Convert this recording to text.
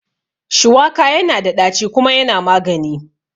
Shuwaka yana da ɗaci kuma yana magani